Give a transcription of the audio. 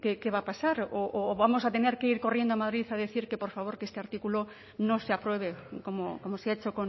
qué va a pasar o vamos a tener que ir corriendo a madrid a decir que por favor que este artículo no se apruebe como se ha hecho